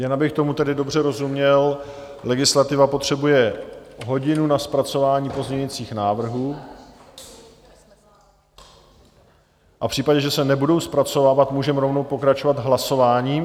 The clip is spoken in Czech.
Jen abych tomu tedy dobře rozuměl, legislativa potřebuje hodinu na zpracování pozměňujících návrhů, a v případě, že se nebudou zpracovávat, můžeme rovnou pokračovat hlasováním?